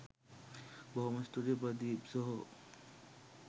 බොහොම ස්තූතියි ප්‍රදීප් සහෝ